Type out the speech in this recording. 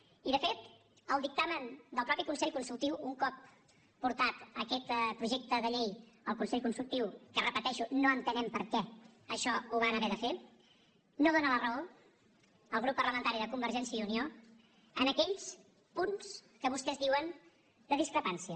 i de fet el dictamen del mateix consell consultiu un cop portat aquest projecte de llei al consell consultiu que ho repeteixo no entenem per què això ho van haver de fer no dóna la raó al grup parlamentari de convergència i unió en aquells punts que vostès diuen de discrepància